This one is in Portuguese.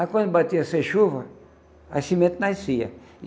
Aí quando batia essa chuva, as sementes nasciam.